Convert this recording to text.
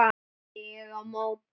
hrópaði ég á móti.